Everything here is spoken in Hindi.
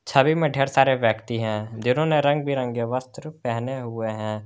छवि में ढेर सारे व्यक्ति हैं जिन्होंने रंग बिरंगे वस्त्र पहने हुए हैं।